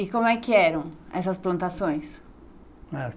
E como é que eram essas plantações? Ah